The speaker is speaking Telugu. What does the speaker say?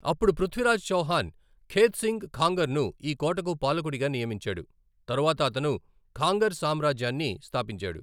అప్పుడు పృథ్వీరాజ్ చౌహాన్ ఖేత్సింగ్ ఖాంగర్ను ఈ కోటకు పాలకుడిగా నియమించాడు, తరువాత అతను ఖాంగర్ సామ్రాజ్యాన్ని స్థాపించాడు.